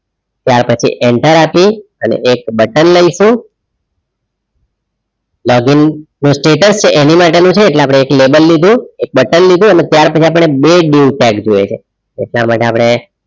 ત્યાર પછી enter આપી અને એક button લઈશું login નુ status છે એની માટેનું છે એટલે આપણે એક label લીધું એક button લીધું અને ત્યાર પછી આપણે બે dieu tag જોઈએ છે એટલા માટે આપણે